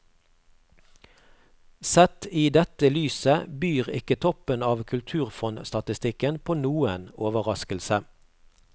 Sett i dette lyset byr ikke toppen av kulturfondstatistikken på noen overraskelse.